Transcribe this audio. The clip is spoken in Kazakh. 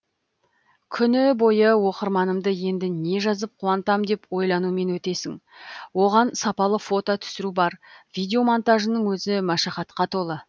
күні бойы оқырманымды енді не жазып қуантам деп ойланумен өтесің оған сапалы фото түсіру бар видео монтажының өзі машақатқа толы